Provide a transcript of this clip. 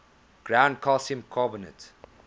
ground calcium carbonate